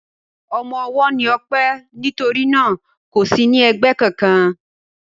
Ọmọ ọwọ́ ni Ọpẹ́ nítorí náà kò sí ní ẹgbẹ́ kankan.